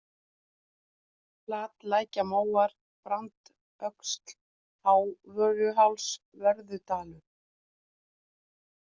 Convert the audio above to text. Flatlækjarmóar, Brandsöxl, Hávörðuás, Vörðudalur